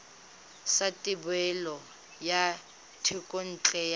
sa thebolo ya thekontle ya